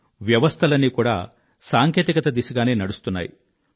వ్యవస్థలన్నీ కూడా సాంకేతికత దిశగానే నడుస్తున్నాయి